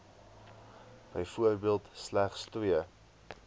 byvoorbeeld slegs twee